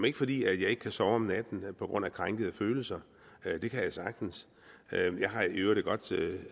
ikke fordi jeg ikke kan sove om natten på grund af krænkede følelser det kan jeg sagtens jeg har i øvrigt et godt